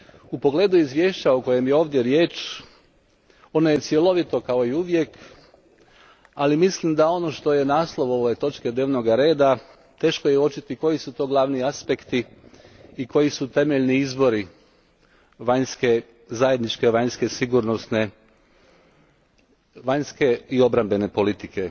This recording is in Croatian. U pogledu izvješća o kojem je ovdje riječ ono je cjelovito kao i uvijek, ali mislim da ono što je naslov ove točke dnevnog reda, teško je uočiti koji su to glavni aspekti i koji su temeljni izvori Zajedničke vanjske i sigurnosne politike.